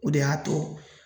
O de y'a to